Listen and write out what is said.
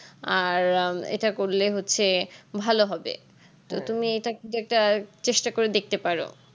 আর এটা করলে হচ্ছে ভালো হবে তো তুমি কিন্তু একটা চেষ্টা করে দেখতে পারো